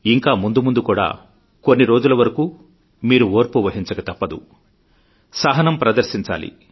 ఇంకా ముందు ముందు కూడా కొన్ని రోజుల వరకు మీరు ఓర్పు వహించక తప్పదు సహనం ప్రదర్శించాలి